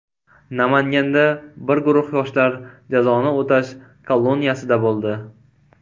Namanganda bir guruh yoshlar jazoni o‘tash koloniyasida bo‘ldi.